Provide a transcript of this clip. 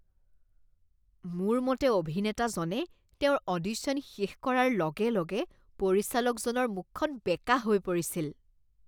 মোৰ মতে অভিনেতাজনে তেওঁৰ অডিশ্যন শেষ কৰাৰ লগে লগে পৰিচালকজনৰ মুখখন বেঁকা হৈ পৰিছিল।